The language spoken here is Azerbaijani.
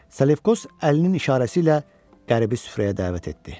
Salefkos əlinin işarəsi ilə qəribi süfrəyə dəvət etdi.